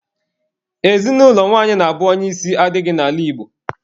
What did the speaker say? Ezinụlọ nwanyị na-abụ onye isi adịghị n'ala Igbo